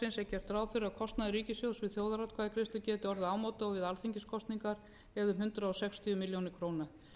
gert ráð fyrir að kostnaður ríkissjóðs við þjóðaratkvæðagreiðslu geti orðið ámóta og við alþingiskosningar eða um hundrað sextíu milljónir króna